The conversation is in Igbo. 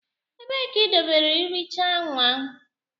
Ebee ka idobere ihicha nwa?